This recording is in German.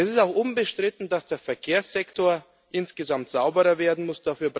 Es ist auch unbestritten, dass der Verkehrssektor insgesamt sauberer werden muss.